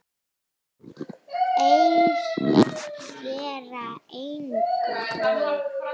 Þeir gera engum mein.